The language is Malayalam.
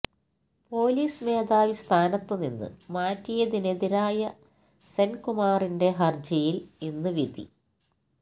പൊലീസ് മേധാവി സ്ഥാനത്ത് നിന്ന് മാറ്റിയതിനെതിരായ സെന്കുമാറിന്റെ ഹര്ജിയില് ഇന്ന് വിധി